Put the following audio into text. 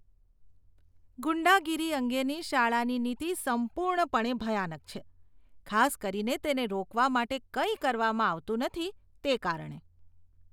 ગુંડાગીરી અંગેની શાળાની નીતિ સંપૂર્ણપણે ભયાનક છે, ખાસ કરીને તેને રોકવા માટે કંઈ કરવામાં આવતું નથી, તે કારણે.